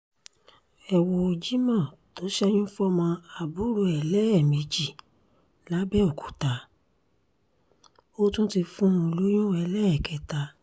ẹ wo jimoh tó ṣẹ́yún fọ́mọ àbúrò ẹ̀ lẹ́ẹ̀mejì làbẹ́òkúta ó tún ti fún un lóyún ẹlẹ́ẹ̀kẹta